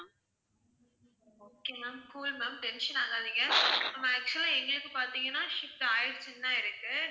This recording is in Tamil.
okay ma'am, cool ma'am tension ஆகாதிங்க, actual ஆ எங்களுக்கு பாத்திங்கன்னா shipped ஆயிடுச்சுன்னு தான் இருக்கு.